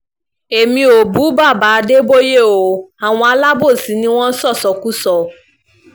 èmi ò bú baba adébóye o àwọn alábòsí ni wọ́n ń ṣọ́ṣọ́kọ́ṣọ́ o